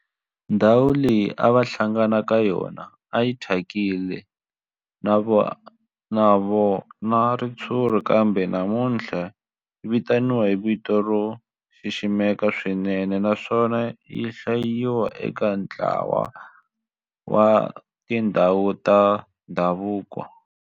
Ndhawu leyi a va hlangana ka yona a yi thyakile no va na ritshuri kambe namuntlha yi vitaniwa hi vito ro xiximeka swinene naswona yi hlayiwa eka ntlawa wa tindhawu ta ndhavuko.